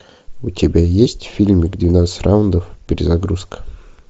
у тебя есть фильм двенадцать раундов перезагрузка